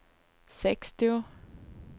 sextio